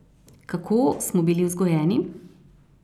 Kako smo bili vzgojeni?